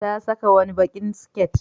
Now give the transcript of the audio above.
Ta saka wani baƙin siket.